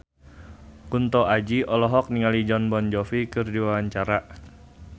Kunto Aji olohok ningali Jon Bon Jovi keur diwawancara